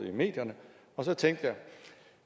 i medierne og så tænkte